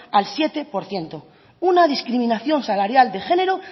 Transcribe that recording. al siete por ciento una discriminación salarial de género